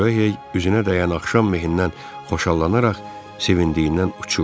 Ryohey üzünə dəyən axşam mehindən xoşallanaraq sevincindən uçurdu.